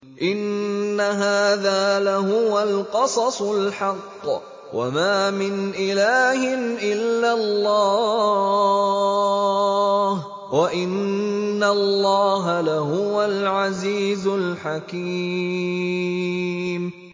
إِنَّ هَٰذَا لَهُوَ الْقَصَصُ الْحَقُّ ۚ وَمَا مِنْ إِلَٰهٍ إِلَّا اللَّهُ ۚ وَإِنَّ اللَّهَ لَهُوَ الْعَزِيزُ الْحَكِيمُ